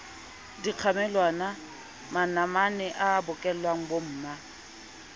dikgamelwana manamane a bokollela bomma